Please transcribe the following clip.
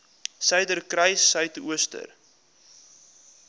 suiderkruissuidooster